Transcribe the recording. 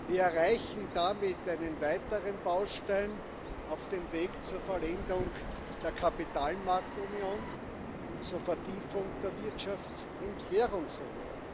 Wir erreichen damit einen weiteren Baustein auf dem Weg zur Vollendung der Kapitalmarktunion und zur Vertiefung der Wirtschafts und Währungsunion.